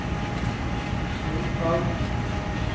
soltak